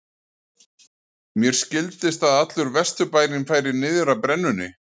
Mér skildist að allur Vesturbærinn færi niður að brennunni.